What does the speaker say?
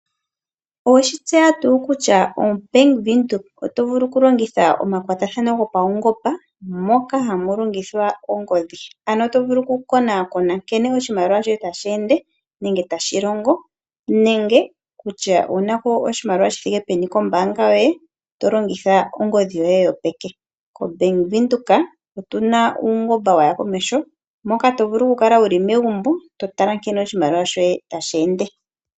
Oweshi tseya tuu kutya o Bank Windhoek otovulu oku longitha omakwatathano gopaungomba moka hamu longithwa ongodhi ano tovulu oku konakona nkene oshimaliwa shoye tashi ende nenge tashi longo nenge kutya owunano oshimaliwa shithike peni kombaanga yoye to longitha ongodhi yoye yopeke. Kombaanga ya Venduka otuna uungomba waya komeho moka tovulu oku kala wuli megumbo totatala nkene oshimaliwa shoye tashi ende.